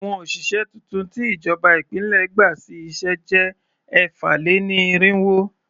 Àwọn òṣìṣẹ́ tuntun tí ìjọba ìpínlẹ̀ gbà sí iṣẹ́ jẹ́ ẹ̀fà-lé-ní-irínwó.